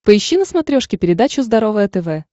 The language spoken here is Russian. поищи на смотрешке передачу здоровое тв